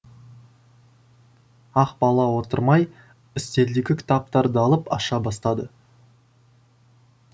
ақбала отырмай үстелдегі кітаптарды алып аша бастады